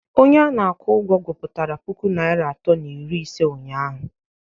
Onye na-akwụ ụgwọ gụpụtara puku naira atọ na iri ise ụnyahụ